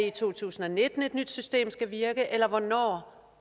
i to tusind og nitten at et nyt system skal virke eller hvornår